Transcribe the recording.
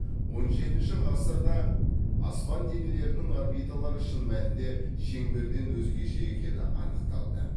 он жетінші ғасырда аспан денелерінің орбиталары шын мәнінде шеңберден өзгеше екені анықталды